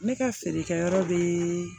Ne ka feerekɛyɔrɔ be